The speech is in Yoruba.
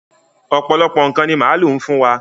Ọ̀pọ̀lọpọ̀ ǹkan ní màálu má ń fún wa.